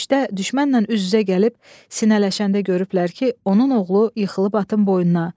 Döyüşdə düşmənlə üz-üzə gəlib sinələşəndə görüblər ki, onun oğlu yıxılıb atın boynuna.